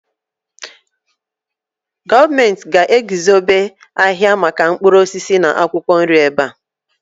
gọọmenti ga-eguzobe ahịa maka mkpụrụ osisi na akwụkwọ nri ebe a